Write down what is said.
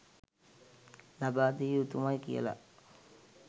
ලබා දිය යුතුමයි කියලා.